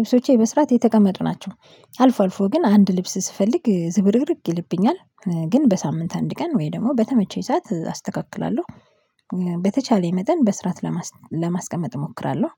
ልብሶቼ በስርዓት የተቀመጡ ናቸው። አልፎ አልፎ ግን አንድ ልብስ ስፈልግ ዝብርቅርቅ ይልብኛል ግን በሳምንት አንድ ቀን ወይ ደግሞ በተመቸኝ ሰዓት አስተካክላለሁ። በተቻለኝ መጠን በስርዓት ለማስቀመጥ እሞክራለሁ።